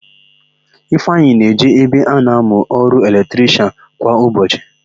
Ifeanyị na-eje ebe ọ na-amụ ọrụ eletrishịan kwa ụbọchị.